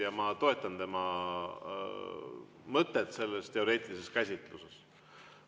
Ja ma toetan tema mõtet selles teoreetilises käsitluses.